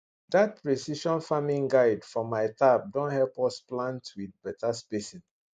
that precision farming guide for my tab don help us plant with better spacing